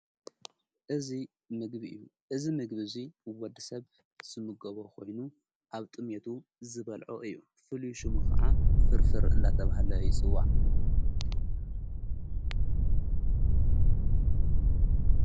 እዙይ ምግቢ እዩ እዝ ምግቢ እዙይ ወዲ ሰብ ስምጐቦ ኾይኑ ኣብ ጥሜቱ ዝበልዖ እዩ ፍልዩ ሹሙ ኸዓ ፍርፍር እንዳተብሃለ ይፅዋእ::